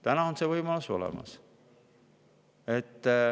Täna on see võimalus olemas.